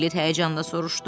Piklet həyəcanla soruşdu.